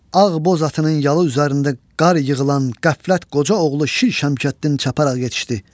Ağ boz atının yalı üzərində qar yığılan qəflət qoca oğlu Şir Şəmkəddin çaparaq yetişdi.